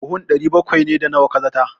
Buhun 700 ne, da nawa ka zata?